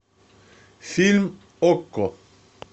фильм окко